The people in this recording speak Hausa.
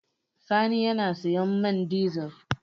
Sani yana sayan man dizel.